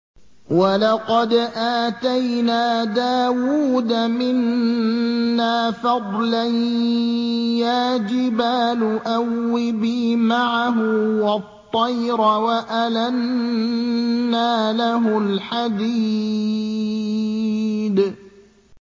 ۞ وَلَقَدْ آتَيْنَا دَاوُودَ مِنَّا فَضْلًا ۖ يَا جِبَالُ أَوِّبِي مَعَهُ وَالطَّيْرَ ۖ وَأَلَنَّا لَهُ الْحَدِيدَ